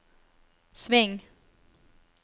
sving